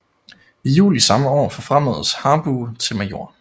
I juli samme år forfremmedes Harbou til major